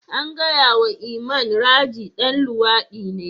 An gaya wa Iman, Raji dan luwadi ne.